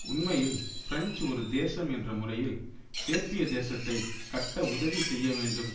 உண்மையில் பிரெஞ்சு ஒரு தேசம் என்ற முறையில் சேர்பிய தேசத்தை கட்ட உதவிசெய்ய வேண்டும்